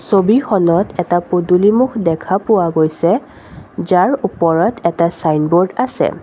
ছবিখনত এটা পদূলিমুখ দেখা পোৱা গৈছে যাৰ ওপৰত এটা চাইনবৰ্ড আছে।